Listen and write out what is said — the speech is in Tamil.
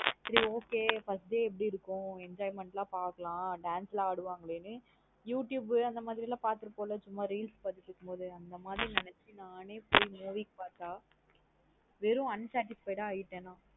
சரி. Okay first day எப்டி இருக்கும். Enjoyment லாம் பாக்கலாம் dance லாம் அடுவங்கலேன்னு. youtube அந்த மாத்ரி லம் பாத்ருபபோம்ல சும்மா reels பாத்துட்டு இருக்கும்போது அந்த மாத்ரி நெனச்சு நானே போயி movie ஸ் பாத்த வெறும் unsatisfied ஆ ஆய்ட்டேன் நா.